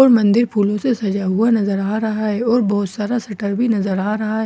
और मंदिर फूलों से सजा हुआ नजर आ रहा है और बहुत सारा शटर भी नजर आ रहा है।